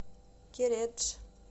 кередж